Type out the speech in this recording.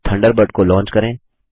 Thunderbird को launch करें